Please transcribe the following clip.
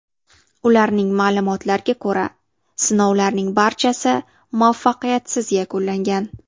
Ularning ma’lumotlariga ko‘ra, sinovlarning barchasi muvaffaqiyatsiz yakunlangan.